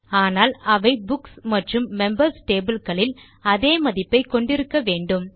ஆனால் அவை புக்ஸ் மற்றும் மெம்பர்ஸ் டேபிள் களில் அதே மதிப்பை கொண்டு இருக்க வேண்டும்